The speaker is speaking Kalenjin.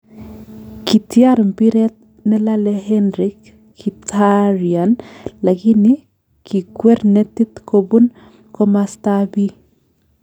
Kityar mpiret nelale Henrik Mkhitaryan lakini kikwer netit kobun komasta ab bi